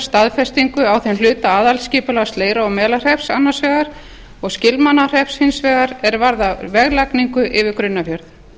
staðfestingar á þeim hluta aðalskipulags leirár og melahrepps annars vegar og skilmannahrepps hins vegar er varðar veglagningu yfir grunnafjörð